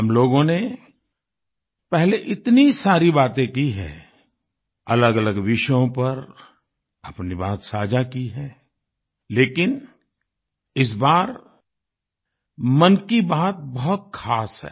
हम लोगों ने पहले इतनी सारी बातें की हैं अलगअलग विषयों पर अपनी बात साझा की है लेकिन इस बार मन की बात बहुत खास है